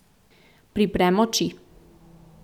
Priprem oči.